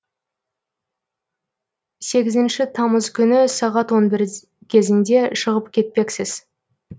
сегізінші тамыз күні сағат он бір кезінде шығып кетпекпіз